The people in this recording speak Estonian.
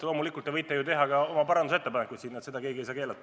Loomulikult te võite teha oma parandusettepanekuid, seda keegi ei saa keelata.